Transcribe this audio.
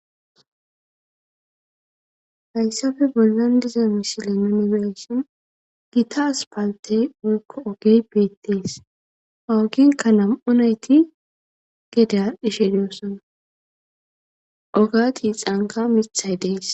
hayssafe bollan diza mishile nuuni be7ishin gita aspaltey woykko ogey beettees ogenka nam7u nayti gede aadhishe de7osona oga tiixanka mithay de7es